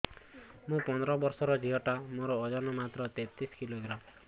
ମୁ ପନ୍ଦର ବର୍ଷ ର ଝିଅ ଟା ମୋର ଓଜନ ମାତ୍ର ତେତିଶ କିଲୋଗ୍ରାମ